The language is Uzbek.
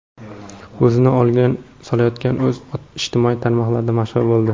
O‘zini o‘lganga solayotgan ot ijtimoiy tarmoqlarda mashhur bo‘ldi .